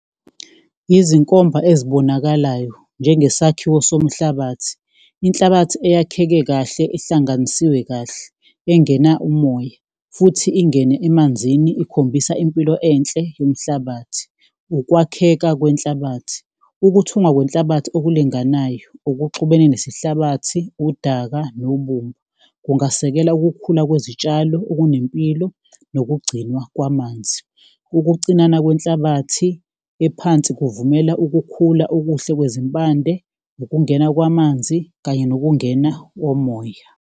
Izinkomba ezibonakalayo njengesakhiwo somhlabathi, inhlabathi eyakheke kahle ehlanganisiwe kahle engena umoya futhi ingene emanzini ikhombisa impilo enhle yomhlabathi. Ukwakheka kwenhlabathi, ukuthungwa kwenhlabathi okulinganayo okuxubene nesihlabathi, udaka nobumba kungasekela ukukhula kwezitshalo okunempilo nokugcinwa kwamanzi. Ukucinana kwenhlabathi ephansi kuvumela ukukhula okuhle kwezimpande, ukungena kwamanzi kanye nokungena womoya.